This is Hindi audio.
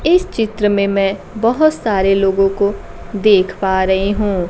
इस चित्र में मैं बहोत सारे लोगों को देख पा रही हूं।